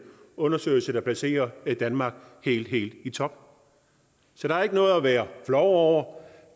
undersøgelse der placerer danmark helt helt i top så der er ikke noget at være flov over